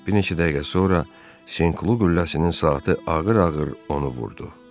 Bir neçə dəqiqə sonra Senklu qülləsinin saatı ağır-ağır onu vurdu.